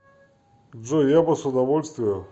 джой я бы с удовольствием